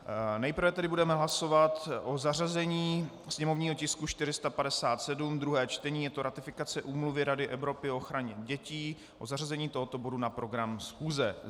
Nejprve tedy budeme hlasovat o zařazení sněmovního tisku 457, druhé čtení, je to ratifikace Úmluvy Rady Evropy o ochraně dětí, o zařazení tohoto bodu na program schůze.